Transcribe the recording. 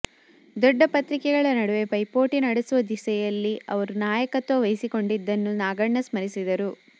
ದೊಡ್ಡ ಪತ್ರಿಕೆಗಳ ನಡುವೆ ಪೈಪೋಟಿ ನಡೆಸುವ ದಿಸೆಯಲ್ಲಿ ಅವರು ನಾಯಕತ್ವ ವಹಿಸಿಕೊಂಡಿದ್ದನ್ನು ನಾಗಣ್ಣ ಸ್ಮರಿಸಿದರು